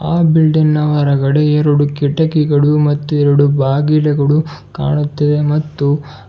ಆ ಬಿಲ್ಡಿಂಗ್ ನ ಹೊರಗಡೆ ಎರಡು ಕಿಟಕಿಗಳು ಮತ್ತು ಎರಡು ಬಾಗಿಲುಗಳು ಕಾಣುತ್ತಿವೆ ಮತ್ತು --